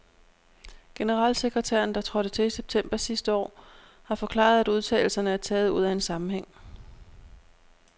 Generalsekretæren, der trådte til i september sidste år, har forklaret, at udtalelserne er taget ud af en sammenhæng.